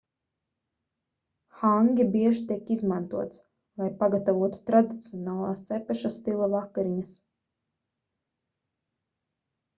hangi bieži tiek izmantots lai pagatavotu tradicionālās cepeša stila vakariņas